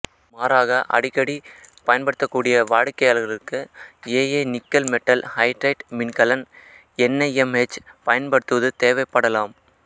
மாறாக மேலும் அடிக்கடி பயன்படுத்தக் கூடிய வாடிக்கையாளர்களுக்கு ஏஏ நிக்கல் மெட்டல் ஹைட்ரைட் மின் கலன்கள் என்ஐஎம்ஹெச் பயன்படுத்துவது தேவைப்படலாம்